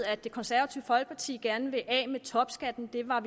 at det konservative folkeparti gerne vil af med topskatten vi var